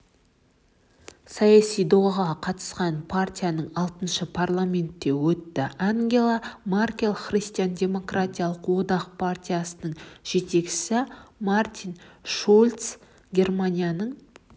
саяси додаға қатысқан партияның алтысы парламентке өтті ангела меркель христиан-демократиялық одақ партиясының жетекшісі мартин шульц германияның